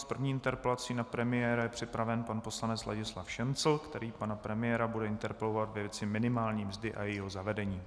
S první interpelací na premiéra je připraven pan poslanec Ladislav Šincl, který pana premiéra bude interpelovat ve věci minimální mzdy a jejího zavedení.